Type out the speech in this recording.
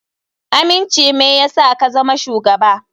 Aminci me yasa ka zama shugaba.